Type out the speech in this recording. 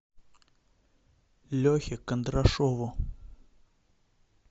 лехе кондрашову